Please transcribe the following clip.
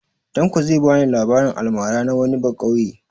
Tanko zai ba ni labarin almara na wani baƙauye.